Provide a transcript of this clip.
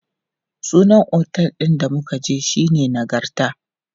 Sunan otel ɗin da muka je shine Nagarta.